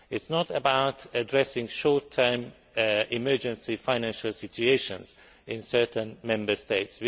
It is not about addressing short term emergency financial situations in certain Member States.